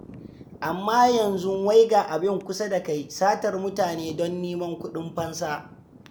Amma yanzu wai ga abin kusa da kai; satar mutane don neman kuɗin fansa.